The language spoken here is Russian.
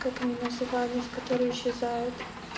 как они назывались которые исчезают